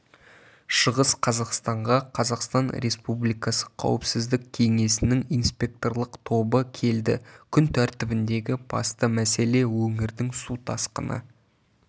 шығыс қазақстанға қазақстан республикасы қауіпсіздік кеңесінің инспекторлық тобы келді күн тәртібіндегі басты мәселе өңірдің су тасқыны